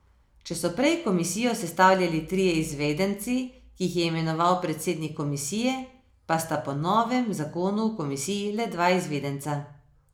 Če so prej komisijo sestavljali trije izvedenci, ki jih je imenoval predsednik komisije, pa sta po novem zakonu v komisiji le dva izvedenca.